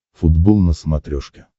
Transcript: футбол на смотрешке